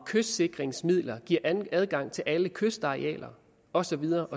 kystsikringsmidler adgang til alle kystarealer og så videre